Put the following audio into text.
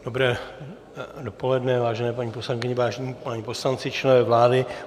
Dobré dopoledne, vážené paní poslankyně, vážení páni poslanci, členové vlády.